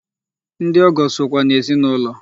Ndị ọgọ sokwa n'ezinụlọ.